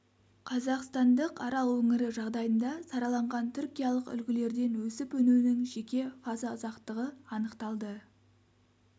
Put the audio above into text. қазақстандық арал өңірі жағдайында сараланған түркиялық үлгілерден өсіп-өнуінің жеке фаза ұзақтығы анықталды